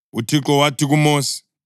UThixo wathi kuMosi,